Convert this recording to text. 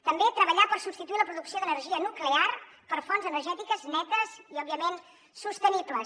també treballar per substituir la producció d’energia nuclear per fonts energètiques netes i òbviament sostenibles